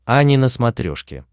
ани на смотрешке